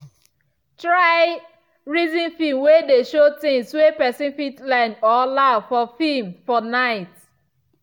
try reason film way dey show things way person fit learn or laugh for film for night.